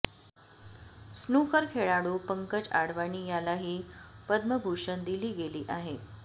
snooker खेळाडू पंकज आडवाणी यालाही पद्मभूषण दिली गेली आहे